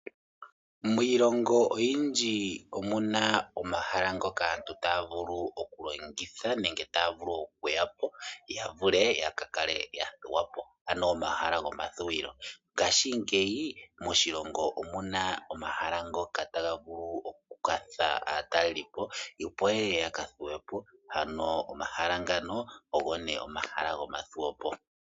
Miilongo oyindji omuna omahala ngoka aantu taya vulu oku longitha nenge taya vulu oku ya po, ya vule oku kala ya thuwa po ano omahala gomathuwilo. Ngashingeyi moshilongo omuna omahala ngoka ta ga vulu oku nana aatalelipo ye ye ya ka thuwe po, ano omahala ngano ogo nee omahala gomathuwopo.